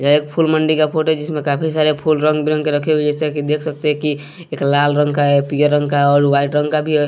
यह एक फूल मंडी का फोटो है जिसमें काफी सारे फूल रंग बिरंग के रखे हुए है जैसा कि देख सकते है कि एक लाल रंग का है पीले रंग का है और व्हाइट रंग का भी है।